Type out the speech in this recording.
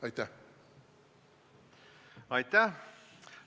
Aitäh!